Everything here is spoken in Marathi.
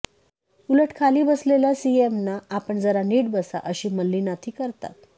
उलट खाली बसलेल्या सीएमना आपण जरा नीट बसा अशी मल्लीनाथी करतात